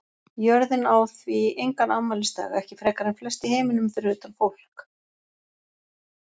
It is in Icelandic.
Jörðin á því engan afmælisdag, ekki frekar en flest í heiminum fyrir utan fólk.